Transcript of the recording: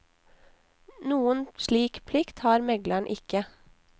Noen slik plikt har megleren ikke.